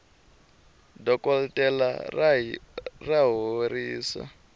dokoltela ra horisa